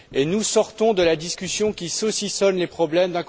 Nous sortons de la discussion qui saucissonne les problèmes.